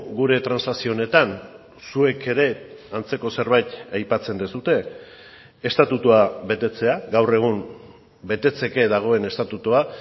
gure transakzio honetan zuek ere antzeko zerbait aipatzen duzue estatutua betetzea gaur egun betetzeke dagoen estatutua